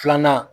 Filanan